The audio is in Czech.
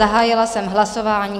Zahájila jsem hlasování.